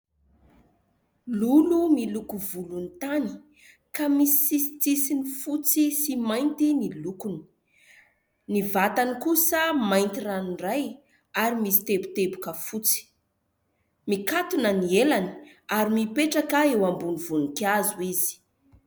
Lolo miloko volontany ka misy sisin-tsisiny fotsy sy mainty ny lokony. Ny vatany kosa mainty ranoray ary misy teboteboka fotsy. Mikatona ny elany ary mipetraka eo ambony voninkazo izy.